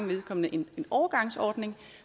vedkommende en overgangsordning